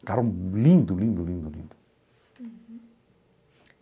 Um carro lindo, lindo, lindo, lindo.